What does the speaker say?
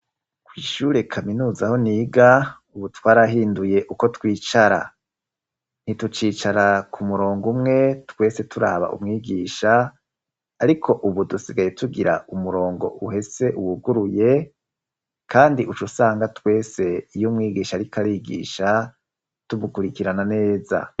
Kw’ishyure kaminuza aho niga, ubu twarahinduye uko twicara; ntitucicara ku murongo umwe, twese turaba umwigisha, ariko ubu dusigaye tugira umurongo uhese wuguruye, kandi uca usanga twese, iyo umwigisha ariko arigisha, tumukurikirana neza.